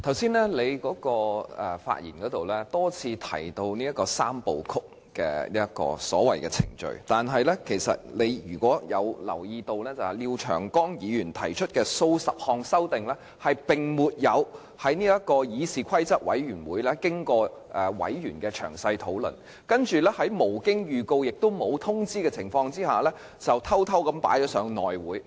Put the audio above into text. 主席，剛才你在發言時多次提到所謂的"三部曲"程序，如果你有留意的話，廖長江議員提出的數十項修訂建議並沒有經過議事規則委員會委員的詳細討論，而且是在無經預告，即沒有作出預告的情況下偷偷提交內務委員會。